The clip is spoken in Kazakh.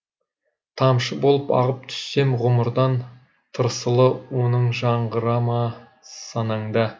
тамшы болып ағып түссем ғұмырдан тырсылы оның жаңғыра ма санаңда